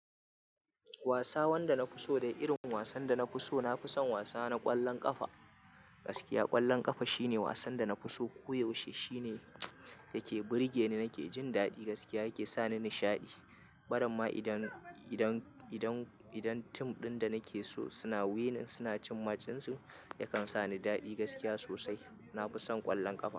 Wasa wanda na fi so da irin wasan da na fi so, na fi son wasa na ƙwallon ƙafa gaskiya. Ƙwallon ƙafa shine wasan da na fi so koyaushe. Shine yake burge ni, nake jin daɗi gaskiya yake sani nishaɗi. Baramma idan, idan, idan, idan tim ɗin da nake so suna winning suna cin match dinsu, yakan sa ni daɗi gaskiya sosai. Na fi son ƙwallon ƙafa.